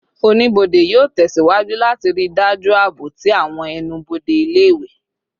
Onibode yoo tẹsiwaju lati rii daju aabo ti awọn ẹnu-bode ile-iwe